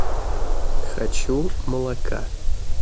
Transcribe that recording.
хочу молока